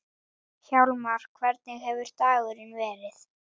Hvort tveggja byggi upp traust.